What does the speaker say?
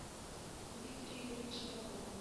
викторе игоревиче попове